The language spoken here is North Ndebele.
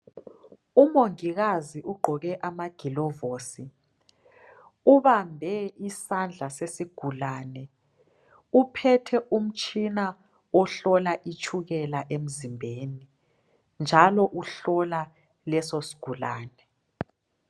Umongikazi ugqoke amagilovisi ,ubambe isandla sesigulane uphethe umtshina wokuhlola itshukela emzimbeni, njalo uhlola leso sigulane.